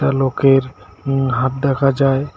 লোকের উম হাত দেখা যায়।